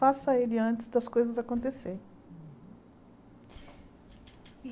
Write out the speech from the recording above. Faça ele antes das coisas acontecerem.